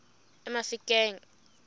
emafikeng